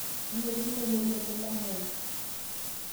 nemirikino ilolepo le mali